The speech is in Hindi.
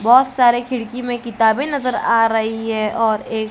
बहुत सारे खिड़की में किताबें नजर आ रही है और एक--